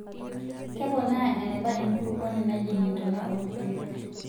Keponaa eneba enkulukuoni najing intona oorkiek.